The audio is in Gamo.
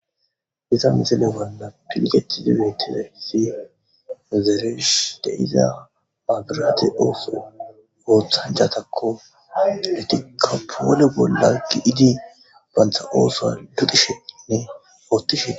iza mizile balla pilgeti dietine fi muzeresh de iza agirate ooso ooththan jatakko letika poole bolla gi7idi bantha ooso dudisheinne oottishee